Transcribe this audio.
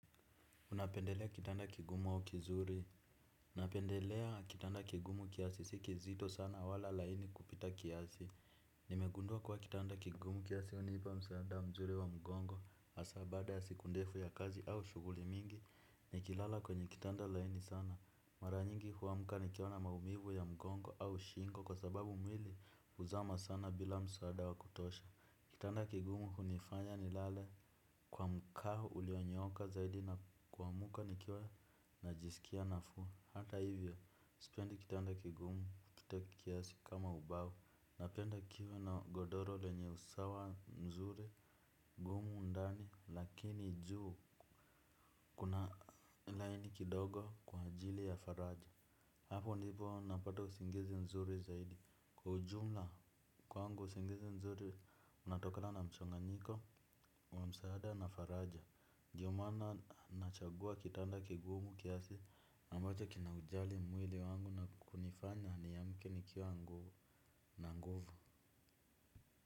Unapendelea kitanda kigumu au kizuri napendelea kitanda kigumu kiasi si kizito sana wala laini kupita kiasi. Nimegundua kwa kitanda kigumu kiasi unipa msaada mzuri wa mgongo hasa baada ya siku ndefu ya kazi au shughuli mingi. Nikilala kwenye kitanda laini sana mara nyingi huamka nikiwa na maumivu ya mgongo au shingo. Kwa sababu mwili huzama sana bila msaada wa kutosha. Kitanda kigumu hunifanya ni lale kwa mkao ulionyooka zaidi na kuamka nikiwa najisikia nafuu. Hata hivyo sipendi kitanda kigumu kupita kiasi kama ubao. Napenda kiwe na godoro lenye usawa mzuri gumu ndani. Lakini juu kuna laini kidogo kwa ajili ya faraja. Hapo ndipo napata usingizi mzuri zaidi. Kwa ujumla kwangu usingizi mzuri unatokana na mchanganiko wa msaada na faraja. Ndiyo maana nachagua kitanda kigumu kiasi ambacho kina ujali mwili wangu na kunifanya niamke nikiwa nguvu na nguvu.